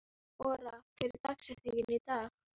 Ora, hver er dagsetningin í dag?